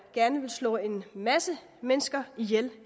gerne ville slå en masse mennesker ihjel